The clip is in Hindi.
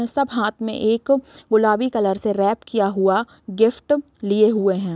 सब हाथ में एक गुलाबी कलर से रैप किया हुआ गिफ्ट लिए हुए है।